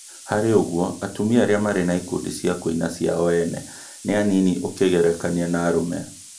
hakĩrĩ ũguo atumia arĩa marĩ na ikundi cia kuina cĩao ene nĩ anini ũkĩgerekania na arũme